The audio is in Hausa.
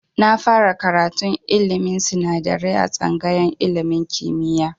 Na fara karatun ilmin sinadarai a tsangayar ilmin kimiya